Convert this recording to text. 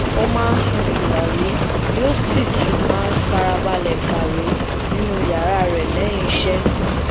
ó máa ń sun tùràrí yoó sì tu máa ń farabalẹ kàwé nínú yàrá rẹ léyìn iṣé